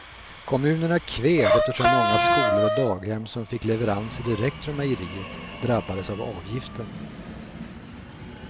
Kommunerna kved eftersom många skolor och daghem som fick leveranser direkt från mejeriet drabbades av avgiften.